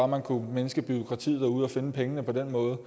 man kunne mindske bureaukratiet derude og finde pengene på den måde